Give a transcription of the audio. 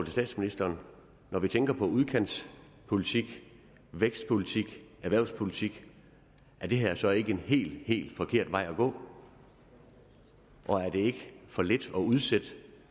statsministeren er når vi tænker på udkantspolitik vækstpolitik og erhvervspolitik er det her så ikke en helt helt forkert vej at gå og er det ikke for lidt at udsætte